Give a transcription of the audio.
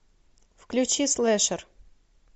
включи слэшер